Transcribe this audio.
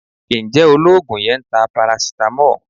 Ǹjẹ́ Olóògùn yẹn ń ta paracetamol?